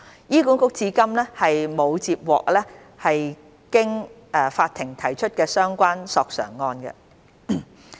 醫管局至今並沒有接獲經法庭提出的相關索償個案。